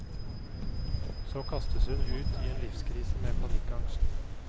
Så kastes hun ut i en livskrise med panikkangst.